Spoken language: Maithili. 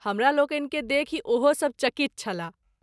हमरालोकनि के देखि ओहो सभ चकित छलाह।